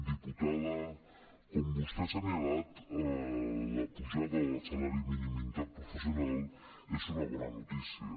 diputada com vostè ha assenyalat la pujada del salari mínim interprofessional és una bona notícia